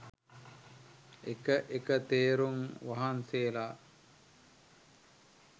එක එක තෙරුන් වහන්සේලා